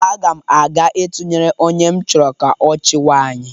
Aga m aga ịtunyere onye m chọrọ ka ọ chịwa anyị.